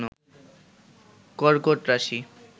কর্কট রাশি